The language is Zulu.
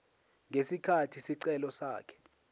ngesikhathi isicelo sakhe